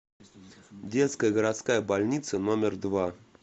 детская городская больница номер два